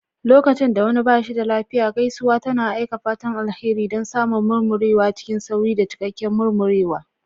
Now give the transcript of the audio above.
Lokacin da wani ba shi da lafiya, gaisuwa tana aika fatan alheri don samun murmurewa cikin sauri da cikakken murmurewa.